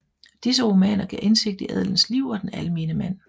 Disse romaner gav indsigt i adelens liv og den almene mand